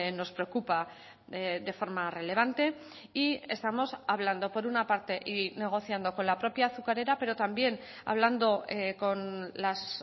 nos preocupa de forma relevante y estamos hablando por una parte y negociando con la propia azucarera pero también hablando con las